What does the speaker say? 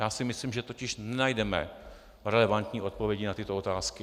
Já si myslím, že totiž nenajdeme relevantní odpovědi na tyto otázky.